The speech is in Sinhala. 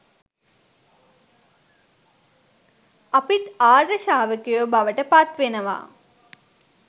අපිත් ආර්ය ශ්‍රාවකයෝ බවට පත්වෙනවා.